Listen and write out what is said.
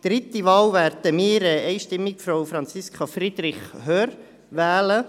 Bei der dritten Wahl werden wir einstimmig Frau Franziska Friederich Hörr wählen.